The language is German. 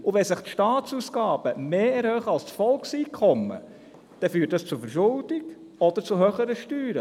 Wenn sich die Staatsausgaben mehr erhöhen als das Volkseinkommen, führt dies zur Verschuldung oder zu höheren Steuern.